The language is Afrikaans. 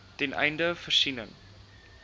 ten einde voorsiening